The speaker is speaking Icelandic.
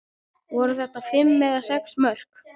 Voru þetta fimm eða sex mörk?